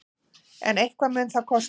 En eitthvað mun það kosta.